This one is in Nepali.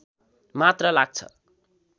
मात्र लाग्छ